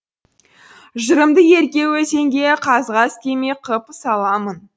жырымды ерке өзенге қағаз кеме қып саламын